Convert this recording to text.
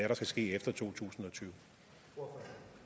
der skal ske efter to tusind og